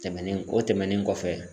Tɛmɛnen o tɛmɛnen kɔfɛ